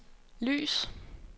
lys